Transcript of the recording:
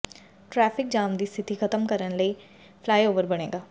traffic jam ਦੀ ਸਥਿਤੀ ਖ਼ਤਮ ਕਰਨ ਲਈ ਫਲਾਈਓਵਰ ਬਣੇਗਾ